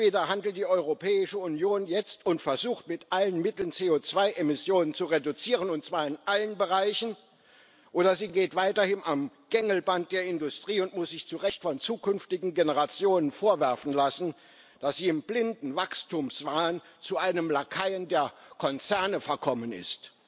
Entweder handelt die Europäische Union jetzt und versucht mit allen Mitteln, CO2 Emissionen zu reduzieren, und zwar in allen Bereichen, oder sie geht weiterhin am Gängelband der Industrie und muss sich zu recht von zukünftigen Generationen vorwerfen lassen, dass sie im blinden Wachstumswahn zu einem Lakaien der Konzerne verkommen ist.